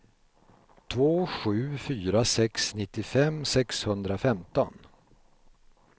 två sju fyra sex nittiofem sexhundrafemton